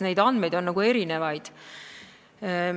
Andmeid on erinevaid.